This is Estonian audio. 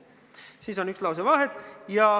" Siis on üks lause vahet.